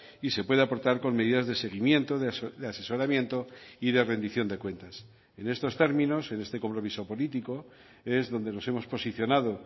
y se puede aportar con medidas de seguimiento de asesoramiento y de rendición de cuentas en estos términos en este compromiso político es donde nos hemos posicionado